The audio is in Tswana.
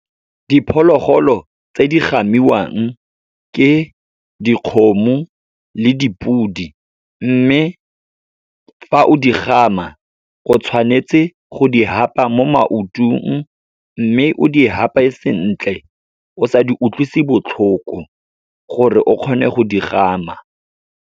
Diphologolo tse di gamiwang ke dikgomo le dipodi. Mme fa o di gama go tshwanetse go di hapa mo maotong, mme o di hape sentle, o sa di utlwisi botlhoko, gore o kgone go di gama.